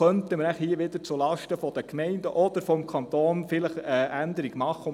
Könnte hier wohl wieder zulasten der Gemeinden oder des Kantons eine Änderung vorgenommen werden?